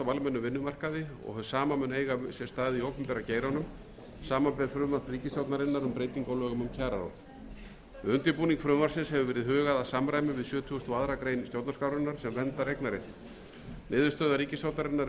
vinnumarkaði og hið sama mun eiga sér stað í opinbera geiranum samanber frumvarp ríkisstjórnarinnar um breytingu á lögum um kjararáð við undirbúning frumvarpsins hefur verið hugað að samræmi við sjötugasta og aðra grein stjórnarskrárinnar sem verndar eignarréttinn niðurstaða ríkisstjórnarinnar er